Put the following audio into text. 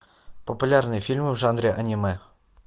популярные фильмы в жанре аниме